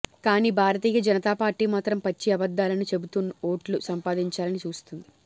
కానీ భారతీయ జనతా పార్టీ మాత్రం పచ్చి అబద్ధాలను చెబుతూ ఓట్లు సంపాదించాలని చూస్తుంది